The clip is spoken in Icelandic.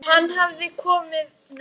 Og hann hefur nú bara gott af því.